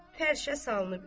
Xalça salınıb.